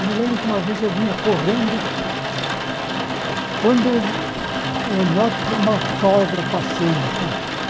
Eu me lembro que uma vez eu vinha correndo, quando eu eu noto uma cobra passando e tal.